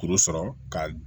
Kuru sɔrɔ ka